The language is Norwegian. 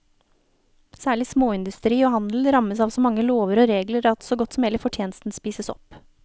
Særlig småindustri og handel rammes av så mange lover og regler at så godt som hele fortjenesten spises opp.